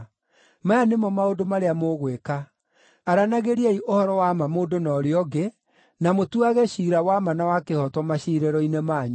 Maya nĩmo maũndũ marĩa mũgwĩka: aranagĩriai ũhoro wa ma mũndũ na ũrĩa ũngĩ, na mũtuage ciira wa ma na wa kĩhooto maciirĩro-inĩ manyu;